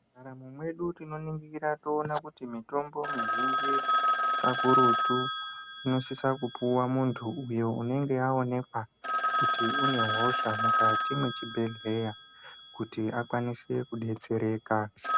Mu ndaramo mwedu tino ningira toona kuti mitombo izhinji ka kurutu ino sisa kupuwa muntu uyo unenge awonekwa kuti une hosha mukati mwe chibhedhleya kuti akwanise ku detsereka.